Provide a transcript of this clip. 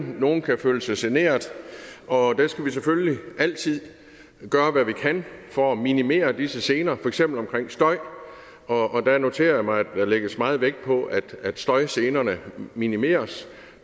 nogle kan føle sig generet og der skal vi selvfølgelig altid gøre hvad vi kan for at minimere disse gener for eksempel omkring støj og der noterer jeg mig at der lægges meget vægt på at støjgenerne minimeres